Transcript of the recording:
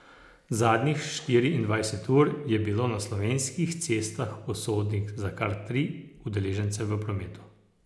Zadnjih štiriindvajset ur je bilo na slovenskih cestah usodnih za kar tri udeležence v prometu.